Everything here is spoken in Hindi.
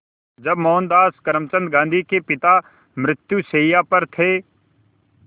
जब मोहनदास करमचंद गांधी के पिता मृत्युशैया पर थे